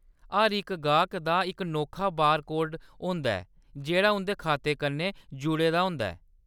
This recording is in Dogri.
हर इक गाह्‌‌क दा इक नोखा बारकोड होंदा ऐ जेह्‌‌ड़ा उंʼदे खाते कन्नै जुड़े दा होंदा ऐ।